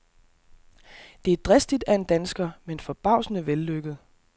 Det er dristigt af en dansker, men forbavsende vellykket.